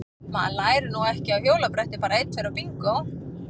Maður lærir nú ekki á hjólabretti bara einn tveir og bingó!